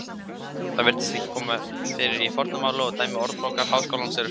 Það virðist ekki koma fyrir í fornu máli og dæmi Orðabókar Háskólans eru fremur ung.